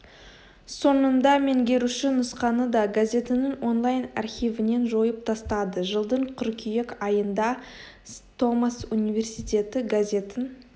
соңында меңгеруші нұсқаны да газетінің онлайн архивінен жойып тастады жылдың қыркүйек айында ст томас университеті газетін